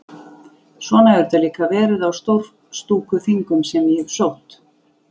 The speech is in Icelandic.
Svona hefur þetta líka verið á Stórstúkuþingum sem ég hef sótt.